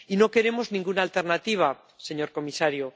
Y no queremos ninguna alternativa, señor comisario.